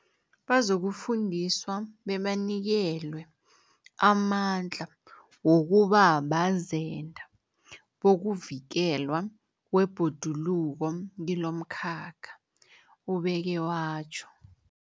Bazokufundiswa bebanikelwe amandla wokuba bazenda bokuvikelwa kwebhoduluko kilomkhakha, ubeke watjho.